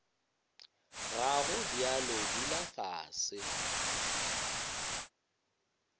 ga go bjalo dula fase